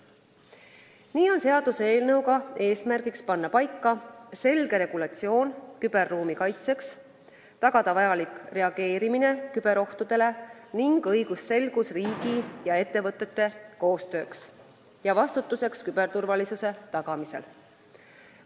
Nii on seaduseelnõu eesmärk kehtestada selge regulatsioon küberruumi kaitseks, tagada vajalik reageerimine küberohtudele, samuti õigusselgus riigi ja ettevõtete koostööks ning vastutuseks küberturvalisuse tagamisel.